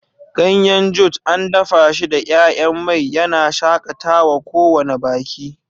Ganyen Jute an dafa shi da 'ya'yan mai, yana shakatawa kowane baki.